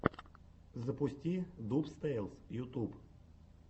запусти дубс тэйлс ютуб